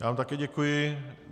Já vám také děkuji.